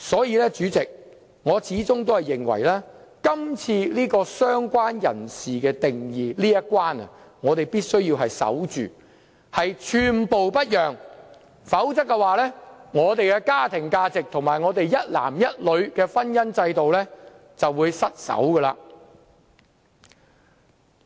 因此，主席，我始終認為在"相關人士"的定義這一關，我們必須守住，寸步不讓，否則我們的家庭價值及一男一女的婚姻制度便會失守。